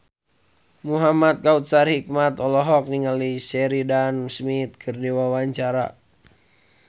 Muhamad Kautsar Hikmat olohok ningali Sheridan Smith keur diwawancara